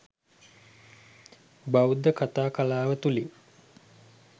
බෞද්ධ කතා කලාව තුළින්